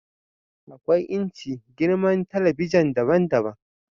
akwai inci/girman talabijin daban-daban